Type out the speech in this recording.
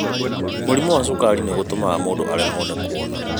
mũrĩmu wa cukari nĩ gũtũmaga mũndũ aremwo nĩ kuóna